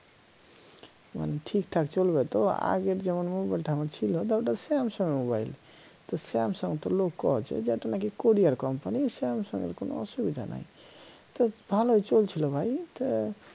তা মানে ঠিকঠাক চলবে তো আগের যেমন মোবাইলটা আমার ছিল তা ওটা samsung এর mobile তো samsung লোক কয়েছে যে এটা নাকি কোরিয়ার company samsung এর কোনো অসুবিধা নাই তো ভালই চলছিল ভাই